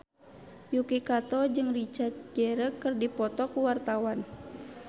Yuki Kato jeung Richard Gere keur dipoto ku wartawan